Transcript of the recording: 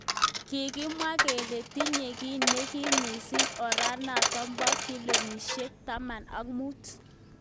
Kikimwa kele tinye ki nekim mising oranatak bo kilomitaishek taman ak mut.